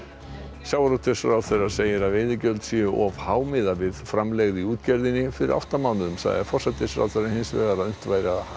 sjávarútvegsráðherra segir að veiðigjöld séu of há miðað við framlegð í útgerðinni fyrir átta mánuðum sagði forsætisráðherra hins vegar að unnt væri að